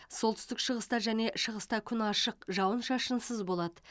солтүстік шығыста және шығыста күн ашық жауын шашынсыз болады